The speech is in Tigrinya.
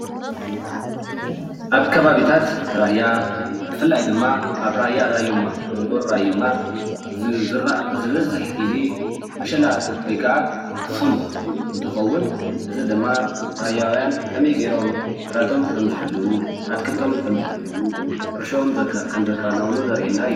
ኣብ ከባቢታት ራያ ብፍላይ ድማ ኣብ ራያ ራዩማ ጎልጎል ራዩማ ዝዝራእ ዝበዝሕ ግዜ ምሸላ ወይ ክዓ ዕፍን እንትከውን እዚ ድማ ራያውያን ከም ገይሮም ግራቶም ከምዝሕልው ኣትክልቶም ከምዝሕልው ሕርሸኦም ከም ዘከናውኑን ዘርእየና እዩ፡፡